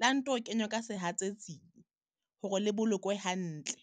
la nto kenywa ka sehatsetsing hore le bolokwe hantle.